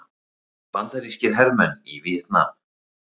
Bandarískir hermenn í Víetnam.